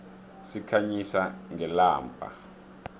sikhanyisa ngelamba